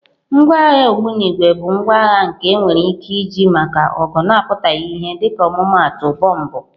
Ngwa agha ogbunigwe bụ ngwa agha nke enwere ike iji maka ọgụ na-apụtaghị ìhè dịka ọmụmaatụ bọmbụ.